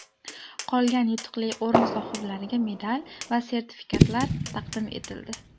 Qolgan yutuqli o‘rin sohiblariga medal va sertifikatlar taqdim etildi.